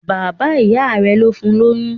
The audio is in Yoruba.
Bàbá ìyá rẹ̀ ló fún lóyún.